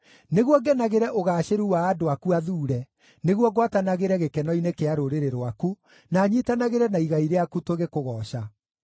nĩguo ngenagĩre ũgaacĩru wa andũ aku athuure, nĩguo ngwatanagĩre gĩkeno-inĩ kĩa rũrĩrĩ rwaku, na nyiitanagĩre na igai rĩaku tũgĩkũgooca.